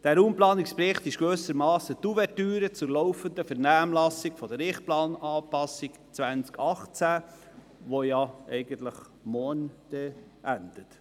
Der Raumplanungsbericht ist gewissermassen die Ouvertüre zur laufenden Vernehmlassung der Richtplananpassung 2018, die morgen endet.